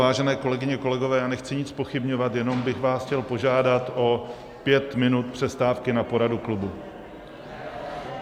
Vážené kolegyně, kolegové, já nechci nic zpochybňovat, jenom bych vás chtěl požádat o pět minut přestávky na poradu klubu.